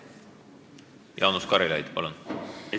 Jaanus Karilaid, palun!